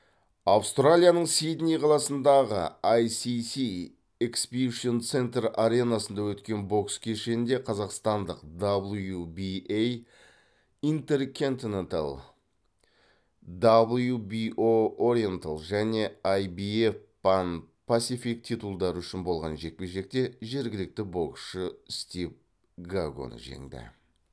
аустралияның сидней қаласындағы аисиси эксбишн центр аренасында өткен бокс кешінде қазақстандық даблюбиэй интер кэнтинентл даблюбио ориентл және аибиэф пан пасифик титулдары үшін болған жекпе жекте жергілікті боксшы стив гагоны жеңді